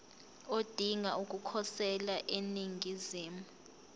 odinga ukukhosela eningizimu